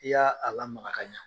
I y'a a lamara ka ɲa